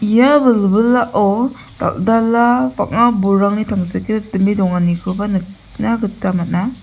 ia wilwilao dal·dala bang·a bolrangni tangsekgrikdime donganikoba nikna gita man·a.